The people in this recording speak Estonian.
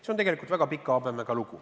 See on tegelikult väga pika habemega lugu.